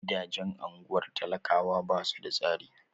Gidajen ungwar talakawa basu da tsari.